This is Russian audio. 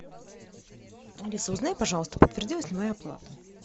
алиса узнай пожалуйста подтвердилась ли моя оплата